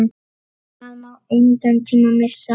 Það má engan tíma missa!